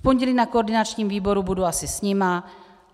V pondělí na koordinačním výboru budu asi s nimi.